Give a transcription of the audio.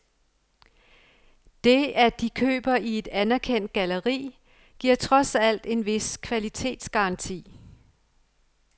Det, at de køber i et anerkendt galleri, giver trods alt en vis kvalitetsgaranti.